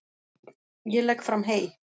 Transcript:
Ég legg fram hey.